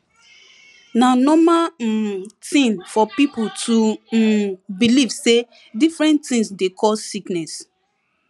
na normal um tin for pipo to um believe say different tins dey cure sickness